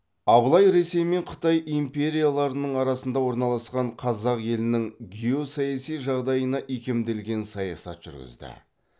абылай ресей мен қытай империяларының арасында орналасқан қазақ елінің геосаяси жағдайына икемделген саясат жүргізді